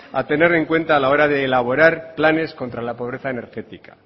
a tener en cuenta a la hora de elaborar planes contra la pobreza energética